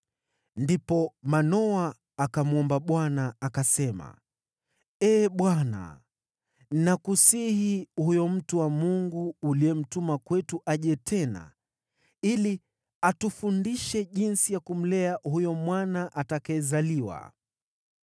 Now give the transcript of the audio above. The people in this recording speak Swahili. Ndipo Manoa akamwomba Bwana , akasema: “Ee Bwana, nakusihi, huyo mtu wa Mungu uliyemtuma kwetu aje tena ili atufundishe jinsi ya kumlea huyo mwana atakayezaliwa.”